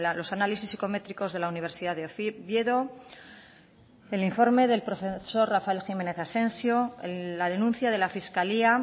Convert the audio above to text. los análisis psicométricos de la universidad de oviedo el informe del profesor rafael jiménez asensio la denuncia de la fiscalía